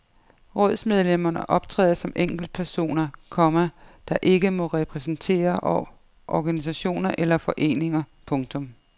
Rådsmedlemmerne optræder som enkeltpersoner, komma der ikke må repræsentere organisationer eller foreninger. punktum